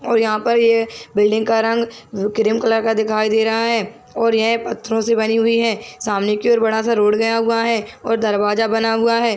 और यहाँ पर ये बिल्डिंग का रंग क्रीम कलर का दिखाई दे रहा है और यह पत्थरों से बनी हुई है सामाने की ओर एक बड़ा- सा रोड गया हुआ है और दरवाजा बना हुआ हैं।